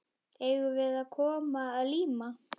Eigum við að koma að líma?